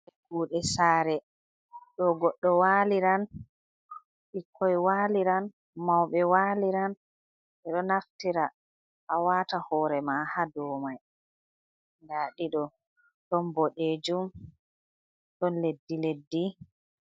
Kuuɗe sare: Ɗo goɗɗo waliran, ɓikkoi waliran, mauɓe waliran, ɓedo naftira a wata hore ma ha dou mai. Nda ɗiɗo ɗon boɗejum, ɗon leddi-leddi.